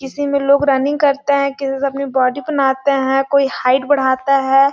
इसी में लोग रनिंग करते हैं किसी से अपनी बॉडी बनाता हैं कोई हाइट बढ़ाता है।